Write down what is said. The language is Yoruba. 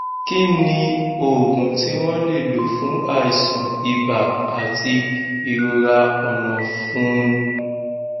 kí ni oògùn tí wọn lè lò fún aisan ibaí àti irora onafuní